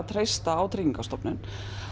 treysta á Tryggingastofnun